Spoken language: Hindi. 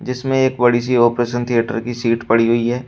इसमें एक बड़ी सी ऑपरेशन थिएटर की सीट पड़ी हुई है।